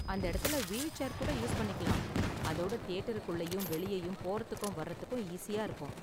அந்த எடத்துல wheel chair கூட யூஸ் பண்ணிக்கலாம், அதோட தியேட்டருக்குள்ளயும் வெளியேயும் போறதுக்கும் வர்றதுக்கும் ஈஸியா இருக்கும்.